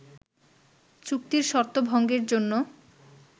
চুক্তির শর্ত ভঙ্গের জন্য